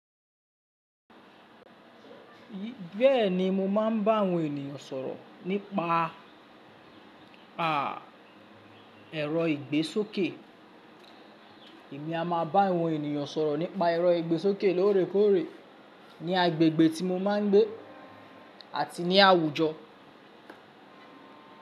Bẹ́ẹ̀ni mo máa ń bá àwọn ènìyàn sọ̀rọ̀ nípa, à, ẹ̀rọ ìgbésókè. Èmi a máa bá àwọn ènìyàn sọ̀rọ̀ nípa ẹ̀rọ ìgbésókè lóòrèkóòrè ní agbègbè tí mo máa ń gbé àti ní àwùjọ.